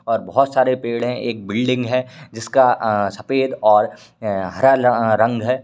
और बहुत सारे पेड़ हैं एक बिल्डिंग है जिसका सफ़ेद अह और हरा अ रंग है।